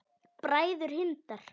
Bræður Hindar